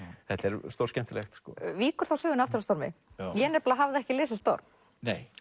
þetta er stórskemmtilegt víkur þá sögunni aftur að stormi ég nefnilega hafði ekki lesið storm